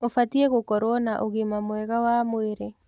Ũbatiĩ gũkorwo na ũgima mwega wa mwĩrĩ.